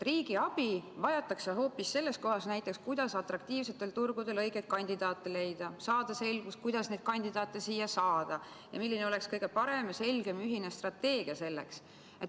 Riigi abi vajatakse hoopis selles kohas näiteks, kuidas atraktiivsetel turgudel õigeid kandidaate leida ja saada selgust, kuidas neid kandidaate siia saada, ning milline oleks kõige parem ja selgem ühine strateegia selleks.